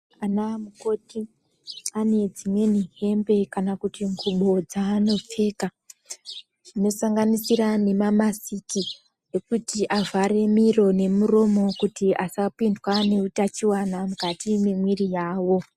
Ana mukoti ane dzimweni hembe kana kuti ngubo dzeanopfeka dzinosanganisira nemamasiki ekuti avhare miro nemiromo kuti asapindwe ngeutachiwana mukati memwiri yavo.